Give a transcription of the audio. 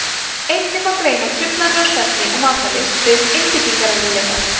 einnig má greina truflanir á svefni og matarlyst auk einbeitingarerfiðleika